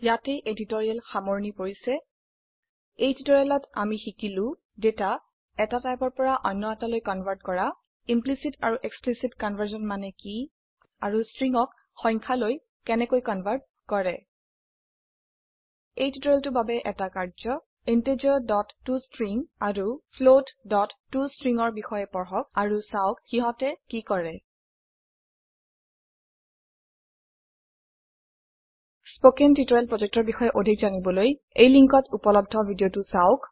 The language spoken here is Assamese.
ইয়াতে এই টিউটৰীয়েল সামৰনি পৰিছে এই টিউটৰিয়েলত আমি শিকিলো দেটা এটা টাইপৰ পৰা আন টো লৈ ৰুপান্তৰ কৰা ইমপ্লিচিত আৰু এক্সপ্লিচিত কনভাৰশ্যন মানে কি আৰু stringsক নম্বৰ লৈ কেনেকৈ ৰুপান্তৰ কৰে কাৰ্যয় হিচাবে integerটষ্ট্ৰিং আৰুFloattoString ৰ বাবে পঢ়ক আৰু চাওক সিহতে কি কৰে spoken টিউটৰিয়েল projectৰ বিষয়ে অধিক জানিবলৈ তলৰ সংযোগত থকা ভিডিঅ চাওক